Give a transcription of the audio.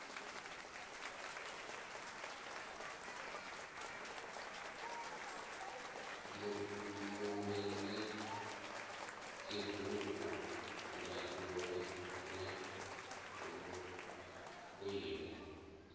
mundende dzibugu ndaula na vhukwila